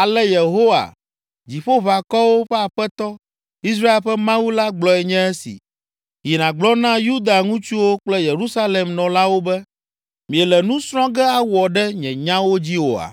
“Ale Yehowa, Dziƒoʋakɔwo ƒe Aƒetɔ, Israel ƒe Mawu la gblɔe nye esi: Yi nàgblɔ na Yuda ŋutsuwo kple Yerusalem nɔlawo be, ‘Miele nu srɔ̃ ge awɔ ɖe nye nyawo dzi oa?’